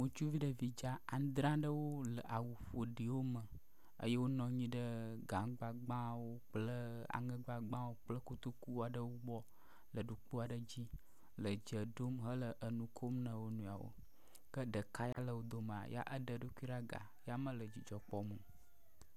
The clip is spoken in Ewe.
ŋutsuvi ɖevi dza adzre aɖewo leawu ƒoɖiwo me, eye wonɔ anyi ɖe gaŋugbagbãwo kple aŋɛgbagbãwo kple kotokuwo aɖewo gbɔ le ɖukpo aɖe dzi le dze ɖom mele nukom na wonɔeawo ke ɖeka le wodo mee ɖe eɖokui ɖa ga ya mele dzidzɔ kpɔm o